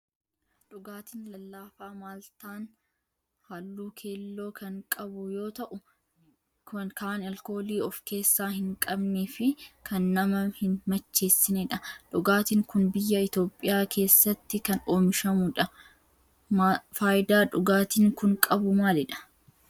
Dhugaatiin lallaafaa maaltaan halluu keelloo kan qabu yoo ta'u kan alkoolii of keessaa hin qabnee fi kan nama hin macheessinedha. Dhugaatiin kun biyyaa Itoophiyaa keessatti kan oomishamudha. Faayidaa dhugaatiin kun qabu maalidha?